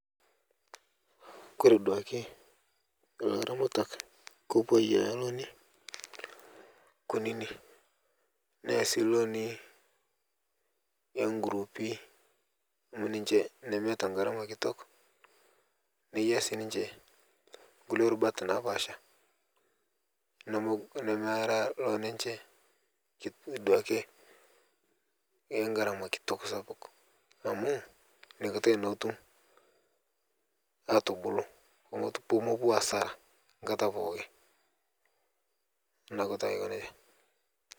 Kore duake laramatak kepuo duake ayia looni kunini neya sii looni enkurupi amu ninche nemeata ngarama kitok neya sii ninche nkule rubat napaasha nemera ninche duake engarama kitok sapuk amu niakatai naa etum atubulu pomopuo asara nkata pooki naaku taa aikoneja.